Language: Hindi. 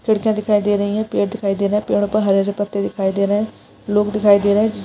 लड़कियां दिखाई दे रही हैं पेड़ दिखाई दे रहे हैं पेड़ों पर हरे हरे पत्ते दिखाई दे रहे हैं लोग दिखाई दे रहे हैं।